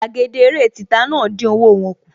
Gbàgede eré títa náà dín owó wọ́n kù